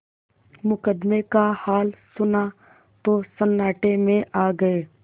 मुकदमे का हाल सुना तो सन्नाटे में आ गये